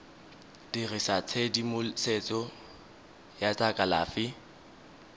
dirisa tshedimosetso ya tsa kalafi